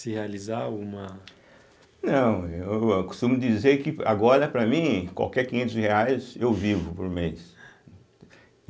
se realizar uma... Não, eu costumo dizer que agora, para mim, qualquer quinhentos reais, eu vivo por mês.